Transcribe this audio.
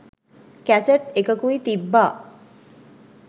cassette එකකුයි තිබ්බා